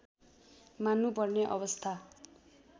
मान्नु पर्ने अवस्था